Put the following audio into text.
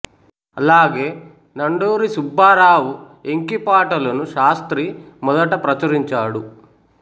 అలాగే నండూరి సుబ్బారావు ఎంకి పాటలును శాస్త్రి మొదట ప్రచురించాడు